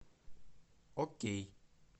окей